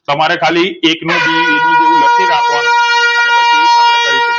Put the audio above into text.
તમારે ખાલી એક નું ભી એની જેવું લખી નાખ વા નું અને પછી અપડે કરીયે